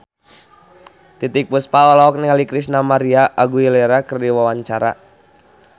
Titiek Puspa olohok ningali Christina María Aguilera keur diwawancara